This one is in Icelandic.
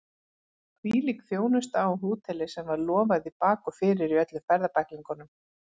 Hvílík þjónusta á hóteli sem var lofað í bak og fyrir í öllum ferðabæklingum!